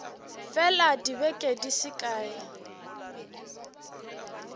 fela dibeke di se kae